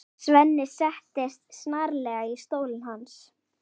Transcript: Svenni settist snarlega í stólinn hans.